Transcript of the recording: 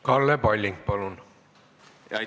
Kalle Palling, palun!